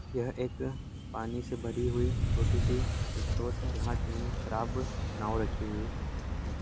यह एक पानी से भरी हुई छोटी सी स्रोत है जहाँ तीन खराब नाव रखी हुई हैं।